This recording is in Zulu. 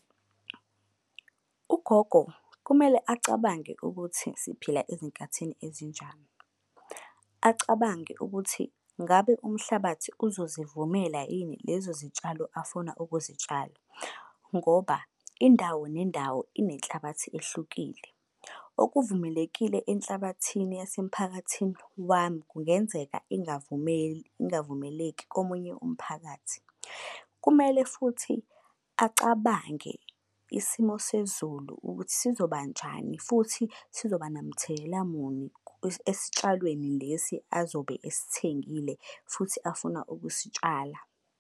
Ugogo kumele acabange ukuthi siphila ezinkathini ezinjani. Acabange ukuthi ngabe umhlabathi uzozivumele yini lezo zitshalo afuna ukuzitshala. Ngoba indawo nendawo inenhlabathi ehlukile. Okuvumelekile enhlabathini yasemphakathini wami kungenzeka ingavumeleki komunye umphakathi. Kumele futhi acabange isimo sezulu ukuthi sizoba njani futhi sizoba namthelela muni esitshalweni lesi azobe esithengile futhi afuna ukusitshala.